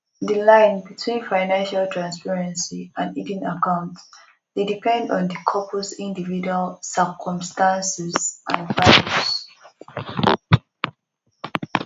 di line between financial transparency and hidden accounts dey depend on di couples individual circumstances and values